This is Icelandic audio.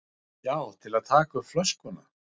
Já, til að taka upp flöskuna